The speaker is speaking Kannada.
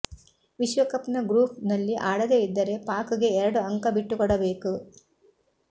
ವಿಶ್ವಕಪ್ ನ ಗ್ರೂಪ್ ನಲ್ಲಿ ಆಡದೆ ಇದ್ದರೆ ಪಾಕ್ ಗೆ ಎರಡು ಅಂಕ ಬಿಟ್ಟುಕೊಡಬೇಕು